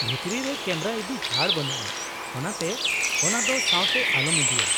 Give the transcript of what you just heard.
-ᱵᱷᱤᱛᱨᱤ ᱨᱮ ᱠᱮᱢᱮᱨᱟ ᱤᱫᱤ ᱪᱷᱟᱹᱲ ᱵᱟᱹᱱᱩᱜᱼᱟ, ᱚᱱᱟᱛᱮ ᱚᱱᱟ ᱫᱚ ᱥᱟᱶᱛᱮ ᱟᱞᱚᱢ ᱤᱫᱤᱭᱟ ᱾